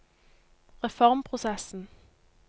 reformprosessen